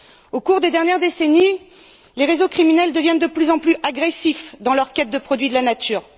Au cours des dernières décennies, les réseaux criminels deviennent de plus en plus agressifs dans leur quête de produits de la nature.